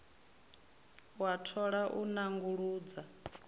u a thola u nanguludza